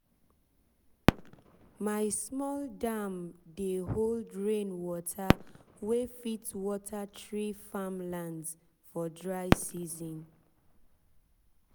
my small dam dey hold rain water wey fit water three farmlands for dry season.